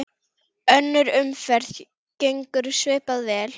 Önnur umferð gengur svipað vel.